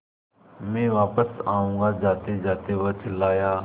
मैं वापस आऊँगा जातेजाते वह चिल्लाया